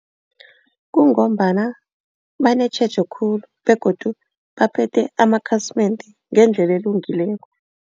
Kungombana banetjhejo khulu begodu baphethe amakhasimende ngendlela elungileko.